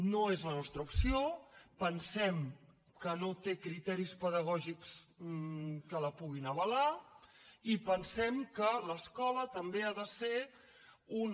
no és la nostra opció pensem que no té criteris pedagògics que la puguin avalar i pensem que l’escola també ha de ser una